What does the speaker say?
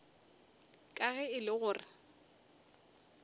ka ge e le gore